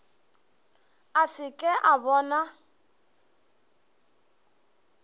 a se ke a bona